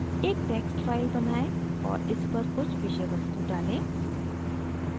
एक text file बनाएँ और इस पर कुछ विषय वस्तु डालें